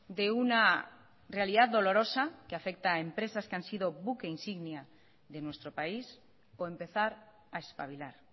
de una realidad dolorosa que afecta a empresas que han sido buque insignia de nuestro país o empezar a espabilar